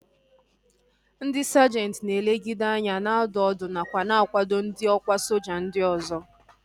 Ndị sajenti na-elegideanya, na-adụ ọdụ nakwa na-akwado ndị ọkwá soja ndị ọzọ